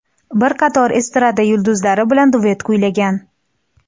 Bir qator estrada yulduzlari bilan duet kuylagan.